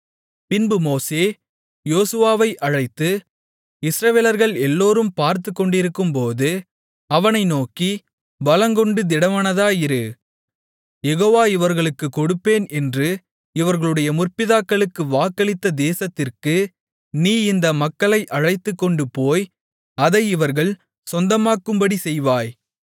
பின்பு மோசே யோசுவாவை அழைத்து இஸ்ரவேலர்கள் எல்லோரும் பார்த்துக்கொண்டிருக்கும்போது அவனை நோக்கி பலங்கொண்டு திடமனதாயிரு யெகோவா இவர்களுக்குக் கொடுப்பேன் என்று இவர்களுடைய முற்பிதாக்களுக்கு வாக்களித்த தேசத்திற்கு நீ இந்த மக்களை அழைத்துக்கொண்டு போய் அதை இவர்கள் சொந்தமாக்கும்படி செய்வாய்